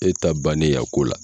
E ta bannen y'a ko la.